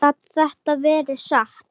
Gat þetta verið satt?